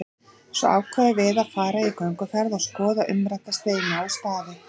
Svo ákveðum við að fara í gönguferð og skoða umrædda steina og staði.